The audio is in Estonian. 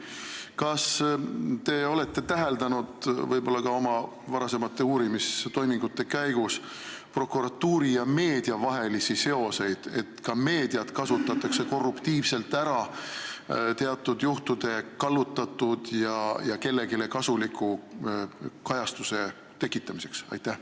Kas te olete võib-olla ka oma varasemate uurimistoimingute käigus täheldanud prokuratuuri ja meedia vahelisi seoseid, seda, et ka meediat kasutatakse korruptiivselt ära teatud juhtumite kallutatud ja nende kohta kellelegi kasuliku kajastuse tekitamiseks?